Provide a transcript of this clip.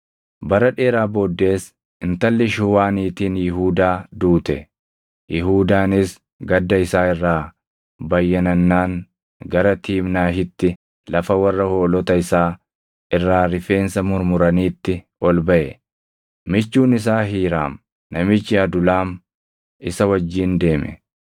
Bara dheeraa booddees intalli Shuuwaa niitiin Yihuudaa duute. Yihuudaanis gadda isaa irraa bayyanannaan gara Tiimnaahitti lafa warra hoolota isaa irraa rifeensa murmuraniitti ol baʼe; michuun isaa Hiiraam namichi Adulaam isa wajjin deeme.